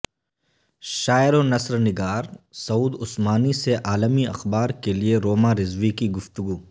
شاعرونثر نگار سعود عثمانی سے عالمی اخبار کیلئے روما رضوی کی گفتگو